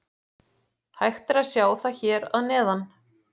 Hægt er að sjá það hér að neðan.